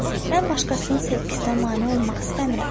Mən başqasının sevgisinə mane olmaq istəmirəm.